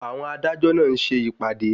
Àwọn adájọ́ náà ń ṣe ìpàdé.